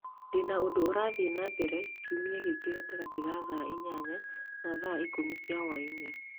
Ndĩna ũndũ ũrathiĩ na mbere Kiumia gĩkĩ gatagatĩ ga thaa inyanya na thaa ikũmi cia hwaĩinĩ